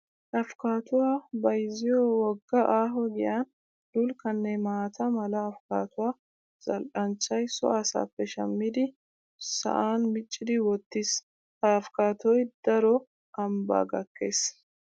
Afikattuwa bayzziyo wogga aaho giyan dulkkanne maata mala afikattuwa zal"anchchay so asaappe shammidi sa'an miccidi wottiis. Ha afikkattoy daro ambbaa gakkees.